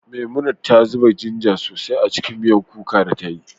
Memunant ta zuba ginger sosai a cikin miyan kuka da ta yi